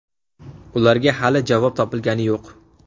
Ularga hali javob topilgani yo‘q.